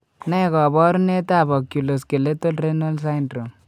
Ne kaabarunetap Oculo skeletal renal syndrome?